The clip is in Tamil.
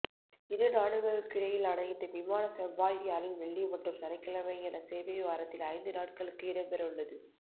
இரு நாடுகளுக்கிடையிலான இந்த விமான செவ்வாய் வியாழன் வெள்ளி மற்றும் சனிக்கிழமை என சேவை வாரத்தில் ஐந்து நாட்களுக்கு இடம்பெறவுள்ளது